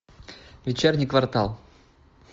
вечерний квартал